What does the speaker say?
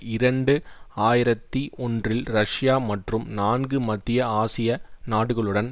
இரண்டு ஆயிரத்தி ஒன்றில் ரஷ்யா மற்றும் நான்கு மத்திய ஆசிய நாடுகளுடன்